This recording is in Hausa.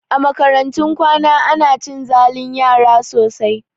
A makarantun kwana ana cin zalin yara sosai